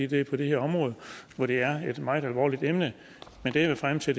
det er på det her område hvor det er et meget alvorligt emne men det jeg vil frem til